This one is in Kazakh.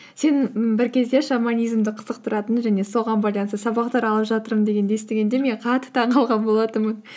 сен ммм бір кезде шаманизмді қызықтыратын және соған байланысты сабақтар алып жатырмын дегенді естігенде мен қатты таңғалған болатынмын